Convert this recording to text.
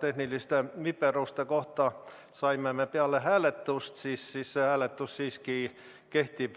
tehniliste viperuste kohta saime me peale hääletust, siis hääletus siiski kehtib.